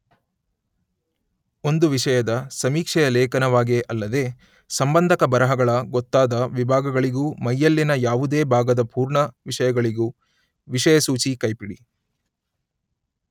ಒಂದು ವಿಷಯದ ಸಮೀಕ್ಷೆಯ ಲೇಖನವಾಗೇ ಅಲ್ಲದೆ ಸಂಬಂಧಕ ಬರಹಗಳ ಗೊತ್ತಾದ ವಿಭಾಗಗಳಿಗೂ ಮೈಯಲ್ಲಿನ ಯಾವುದೇ ಭಾಗದ ಪೂರ್ಣ ವಿಷಯಗಳಿಗೂ ವಿಷಯಸೂಚಿ ಕೈಪಿಡಿ.